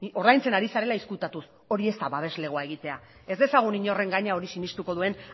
ordaintzen ari zarela ezkutatuz hori ez da babeslegoa egitea ez dezagun inorren gainean hori sinestuko duen